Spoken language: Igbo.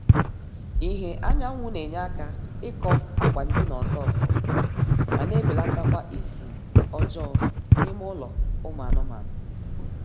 ìhè anyanwụ na-enye aka ịkọ akwa ndina ọsọọsọ ma na-ebelatakwa ísì ọjọọ n'ime ụlọ ụmụ anụmaanụ